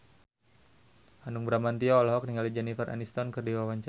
Hanung Bramantyo olohok ningali Jennifer Aniston keur diwawancara